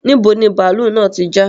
Níbo ni bàálú náà tí já